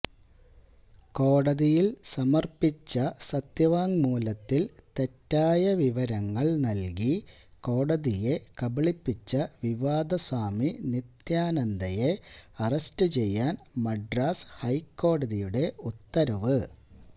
കോടതിയില് സമര്പ്പിച്ച സത്യവാങ്മൂലത്തില് തെറ്റായ വിവരങ്ങള് നല്കി കോടതിയെ കബളിപ്പിച്ച വിവാദസ്വാമി നിത്യാനന്ദയെ അറസ്റ്റുചെയ്യാന് മദ്രാസ് ഹൈക്കോടതിയുടെ ഉത്തരവ്